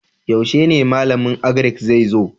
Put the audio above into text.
Yaushe ne malamin Agrik zai zo?